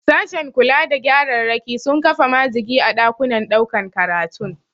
Sashen kula da gyararraki sun kafa majigi a ɗakunan ɗaukan karatun.